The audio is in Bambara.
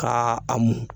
Ka a mɔ